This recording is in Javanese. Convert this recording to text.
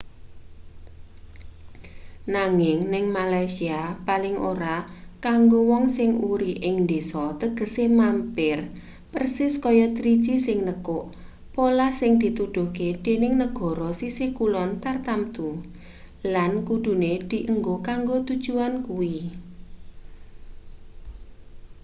nanging ning malaysia paling ora kanggo wong sing uri ing ndesa tegese mampir persis kaya driji sing nekuk polah sing dituduhke dening negara sisih kulon tartamtu lan kudune dienggo kanggo tujuan kuwi